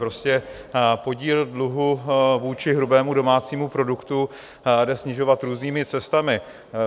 Prostě podíl dluhu vůči hrubému domácímu produktu jde snižovat různými cestami.